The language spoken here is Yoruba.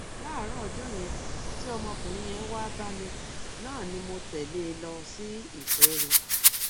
láàárọ ọjọ yẹn tí ọmọkùnrin yẹn wáá bá mi náà ni mo tẹlé e lọ sí ìpẹrù